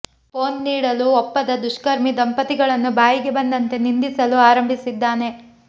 phone ನೀಡಲು ಒಪ್ಪದ ದುಷ್ಕರ್ಮಿ ದಂಪತಿಗಳನ್ನು ಬಾಯಿಗೆ ಬಂದಂತೆ ನಿಂದಿಸಲು ಆರಂಭಿಸಿದ್ದಾನೆ